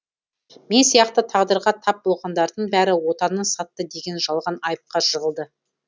мен сияқты тағдырға тап болғандардың бәрі отанын сатты деген жалған айыпқа жығылды